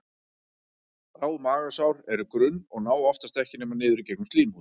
Bráð magasár eru grunn og ná oft ekki nema niður í gegnum slímhúðina.